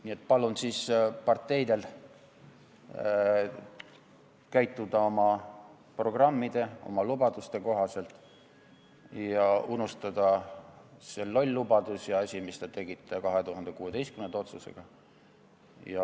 Nii et palun parteidel käituda oma programmide ja lubaduste kohaselt, unustada see loll lubadus ja see asi, mis te tegite 2016. aasta otsusega.